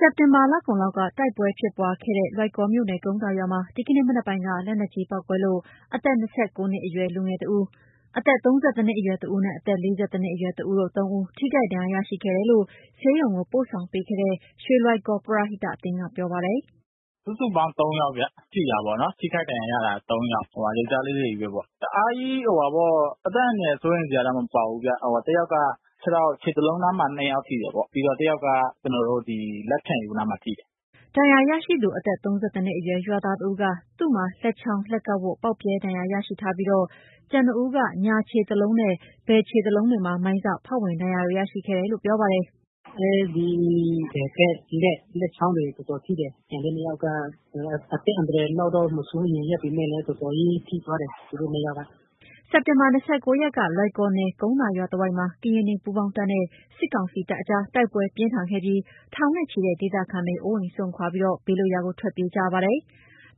စက်တင်ဘာလကုန်လောက်က တိုက်ပွဲဖြစ်ပွားခဲ့တဲ့ လွိုင်ကော်မြို့နယ် ကုန်းသာရွာမှာ ဒီကနေ့ မနက်ပိုင်းက လက်နက်ကြီးပေါက်ကွဲလို့ အသက် ၂၉ နှစ်အရွယ်တဦး၊ အသက် ၃၁ အရွယ်တဦးနဲ့ အသက် ၄၁ အရွယ်တဦး၊ ပေါင်း ၃ ဦး ထိခိုက်ဒဏ်ရာရှိခဲ့တယ်လို့ ဆေးရုံပို့ဆောင်ခဲ့တဲ့ ရွှေလွိုင်ကော်ပရဟိတအသင်းက ပြောပါတယ်။ “စုစုပေါင်း သုံးယောက်ဗျ ထိတာပေါ့နော်၊ ထိခိုက်ဒဏ်ရာရတာသုံးယောက်။ ယောက်ကျားလေးတွေပဲပေါ့၊ တအားကြီး-အသက်အန္တရာယ်စိုးရိမ်စရာတော့ မပါဘူးဗျ၊ တယောက်က ခြေထောက် ခြေသလုံးနားမှာ နှစ်ယောက်ထိတယ်ပေါ့၊ ပြီးတော့ တယောက်က ဒီလက်ဖျံအရိုးနားမှာ ထိတယ်။” ဒဏ်ရာရရှိသူ အသက် ၃၁ နှစ်အရွယ် ရွာသားတဦးက သူ့မှာ လက်ချောင်း၊ လက်ကောက်ဝတ် ပေါက်ပြဲဒဏ်ရာရရှိထားပြီး ကျန်နှစ်ဦးက ညာခြေသလုံးနဲ့ဘယ်ခြေသလုံးတွေမှာ မိုင်းစ ဖောက်ဝင်ဒဏ်ရာတွေ ရရှိခဲ့တယ်လို့ ပြောပါတယ်။ “အဲ့ဒီဘက်ဘက် လက်လက်ချောင်းတွေ တော်တော်ထိတယ်။ ကျန်တဲ့ နှစ်ယောက်က အသက်အန္တရာယ်လောက်တော့ မစိုးရိမ်ရပေမယ့်လည်း တော်တော်ကြီး ထိသွားတယ်၊ သူတို့နှစ်ယောက်က။” စက်တင်ဘာ ၂၉ ရက်က လွိုင်ကော်နယ် ကုန်းသာရွာတဝိုက်မှာ ကရင်နီပူးပေါင်းတပ်နဲ့ စစ်ကောင်စီတပ်အကြား တိုက်ပွဲပြင်းထန်ခဲ့ပြီး ထောင်နဲ့ချီတဲ့ ဒေသခံတွေ အိုးအိမ်စွန့်ခွာ ဘေးလွတ်ရာကို ထွက်ပြေးကြရပါတယ်။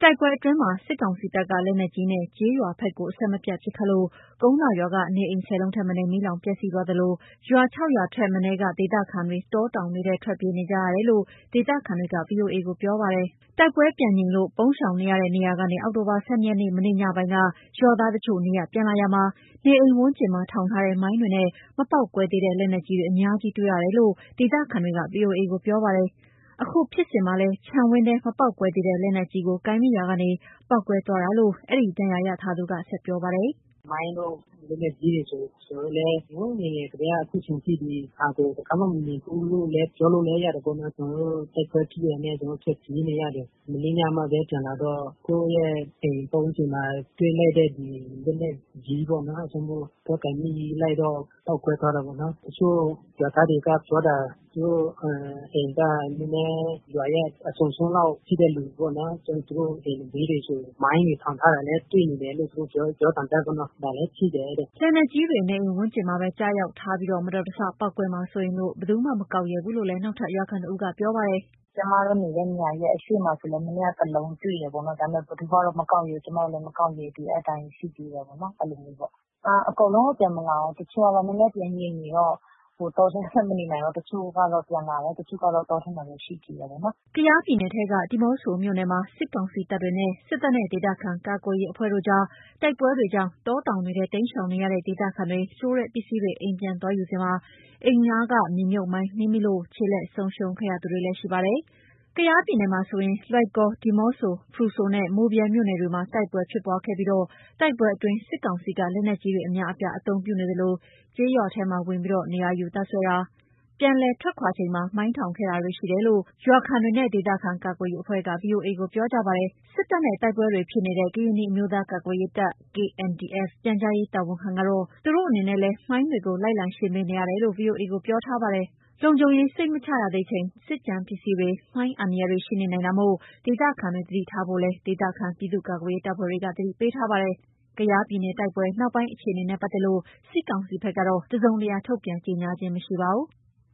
တိုက်ပွဲအတွင်းမှာ စစ်ကောင်စီတပ်က လက်နက်ကြီးနဲ့ ကျေးရွာဘက်ကို အဆက်မပြတ် ပစ်ခတ်လို့ ကုန်းသာရွာက နေအိမ် ၁၀ လုံးထက်မနည်း မီးလောင်ပျက်စီးသွားသလို ရွာ ၆ ရွာထက် မနည်းက ဒေသခံတွေ တောတောင်ထဲ ထွက်ပြေးနေကြရတယ်လို့ ဒေသခံတွေက VOA ကို ပြောပါတယ်။ တိုက်ပွဲပြန်ငြိမ်းလို့ ပုန်းရှောင်တဲ့နေရာကနေ အောက်တိုဘာ ၁၂ နေ့ မနေ့ညနေပိုင်း ရွာသားတချို့ နေရပ်ပြန်လာရာမှာ၊ နေအိမ်ဝန်းကျင်မှာ ထောင်ထားတဲ့ မိုင်းတွေနဲ့ မပေါက်ကွဲသေးတဲ့ လက်နက်ကြီးတွေ အများကြီးတွေ့ရတယ်လို့ ဒေသခံတွေက VOA ကို ပြောပါတယ်။ အခုဖြစ်စဉ်မှာလည်း ခြံဝင်းထဲက မပေါက်ကွဲသေးတဲ့ လက်နက်ကြီးကို ကိုင်မိရာကနေ ပေါက်ကွဲသွားတာလို့ အဲ့ဒီဒဏ်ရာရထားသူက ဆက်ပြောပါတယ်။ “မိုင်းတို့ လက်နက်ကြီးတွေဆိုရင် ကျနော်တို့လည်း ဟိုငယ်ငယ်ကတည်းက အခုချိန်ထိ တခါမှမမြင်ဖူးဘူးလို့လည်း ပြောလို့ရတယ်ပေါ့နော်၊ တိုက်ပွဲဖြစ်တာနဲ့ ကျနော်ထွက်ပြေးနေရတယ်၊ မနေ့ညမှပဲ ပြန်လာတော့ ကိုယ့်ရဲ့အိမ်ပတ်ဝန်းကျင်မှာ တွေ့လိုက်တဲ့ ဒီလက်နက်ကြီးပေါ့နော်၊ အဲဒါကြောင့်မို့ သွားကိုင်မိလိုက်တော့ ပေါက်ကွဲသွားတာပေါ့နော်၊ တချို့ရွာသားတွေက ပြောတာ သူတို့အိမ်ကရွာရဲ့ နည်းနည်းအစွန်လောက်ရှိတဲ့လူပေါ့နော်။ သူတို့အိမ်ဘေးတွေဆိုရင် မိုင်းတွေ ထောင်ထားတာလည်း တွေ့နေတယ်လို့ပြောသံကြားတယ်ပေါ့နော်။ ဒါလည်းရှိတယ်တဲ့။” လက်နက်ကြီးတွေ နေအိမ်ဝန်းကျင်းမှာပဲ ကျရောက်ထားပြီးမတော်တဆ ပေါက်ကွဲမှာ စိုးရိမ်လို့ ဘယ်သူမှ မကောက်ရဲဘူးလို့ နောက်ထပ် ရွာခံတဦးက ပြောပါတယ်။ “ကျမတို့နေတဲ့နေရာရဲ့ အရှေ့မှာဆိုလည်း မနေ့က တလုံးတွေ့တယ်ပေ့ါနော်။ ဒါပေမယ့် ဘယ်သူမှ မကောက်ရဲဘူး၊ ကျမတို့လည်းမကောက်ရဲဘူး။ အဲ့အတိုင်းရှိသေးတာပေါ့နော်၊ အဲ့လိုမျိုးပေါ့၊ အော်… အကုန်လုံးကတော့ ပြန်မလာဘူး။ တချို့ကတော့ နည်းနည်းပြန်ငြိမ်တော့ တောထဲမှာမနေနိုင်လို့ တချို့ကတော့ ပြန်လာတယ်၊ တချို့ကတော့ တောထဲမှာလည်း ရှိသေးတယ်ပေါ့နော်။” ကယားပြည်နယ်ထဲ ဒီးမော့ဆိုမြို့နယ်မှာ စစ်ကောင်စီတပ်တွေနဲ့ စစ်တပ်နဲ့ ဒေသခံကာကွယ်ရေးအဖွဲ့တို့ကြား တိုက်ပွဲတွေကြောင့် တောတောင်တွေထဲ တိမ်းရှောင်နေကြတဲ့ ဒေသခံတွေ လိုတဲ့ ပစ္စည်းတွေ အိမ်ပြန်သွားယူစဉ် နေအိမ်နား မြေမြှုပ်မိုင်း နင်းမိလို့ ခြေလက်ဆုံးရှုံးခဲ့ရသူတွေလည်း ရှိနေပါတယ်။ ကယားပြည်မှာဆိုရင် လွိုင်ကော်၊ ဒီးမော့ဆို၊ ဖရူဆိုနဲ့ မိုးဗြဲမြို့နယ်တွေမှာ တိုက်ပွဲဖြစ်ပွားခဲ့ပြီး တိုက်ပွဲအတွင်း စစ်ကောင်စီက လက်နက်ကြီးတွေ အများအပြားအသုံးပြုနေသလို ကျေးရွာထဲမှာ နေရာယူတပ်စွဲခဲ့ပြီး ပြန်လည်ထွက်ခွာချိန်မှာ မိုင်းထောင်ခဲ့တာရှိတယ်လို့ ရွာခံတွေနဲ့ ဒေသခံကာကွယ်ရေးအဖွဲ့က VOA ကို ပြောကြပါတယ်။ စစ်တပ်နဲ့ တိုက်ပွဲတွေဖြစ်နေတဲ့ ကရင်နီအမျိုးသားကာ ကွယ်ရေးတပ် KNDF ပြန်ကြားရေး တာဝန်ခံကတော့ သူတို့အနေနဲ့လည်း မိုင်းတွေ လိုက်လံရှင်းပေးနေတယ်လို့ VOA ကို ပြောထားပါတယ်။ လုံခြုံရေးစိတ်မချရသေးချိန် စစ်ကျန်ပစ္စည်းတွေ မိုင်းအန္တရာယ်တွေရှိနေနိုင်တာမို့ ဒေသခံတွေ သတိထားဖို့လည်း ဒေသခံပြည်သူ့ကာကွယ်ရေးတပ်ဖွဲ့တွေက အသိပေးထားပါတယ်။ ကယားပြည်နယ်တိုက်ပွဲ နောက်ပိုင်းအခြေအနေနဲ့ ပတ်သက်လို့ စစ်ကောင်စီဘက်ကတော့ တစုံတရာ ထုန်ပြန်ကြေညာတာ မရှိပါဘူး။